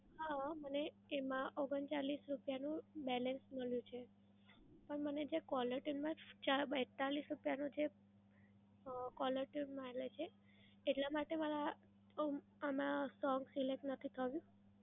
હા, મને એમાં ઓગણ ચાલ્લીસ રૂપયાનું balance મળ્યું છે. પણ મને જે caller tune માં ચા બેત્તાલીસ રૂપયાનું જે અ caller tune મારે છે, એટલા માટે મારા અ આમાં song select નથી થયું?